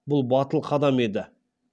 бұл батыл қадам еді